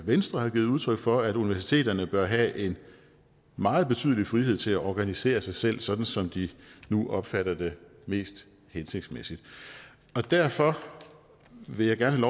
venstre har givet udtryk for nemlig at universiteterne bør have en meget betydelig frihed til at organisere sig selv sådan som de nu opfatter det mest hensigtsmæssigt derfor vil jeg gerne